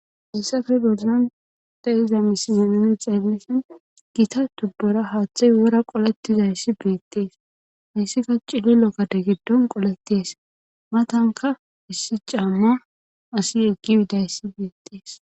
heyissafe bolan de7aiza misileyeneni xeellisin gita tubbora haaththay wora qoletizayssi beettees hayssika cile lokade giddon qoletees matanka issi camma asi yeggi bidayssi beettees